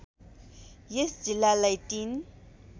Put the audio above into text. यस जिल्लालाई ३